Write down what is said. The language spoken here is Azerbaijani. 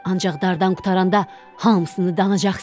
Ancaq dardan qurtaranda hamısını danacaqsan.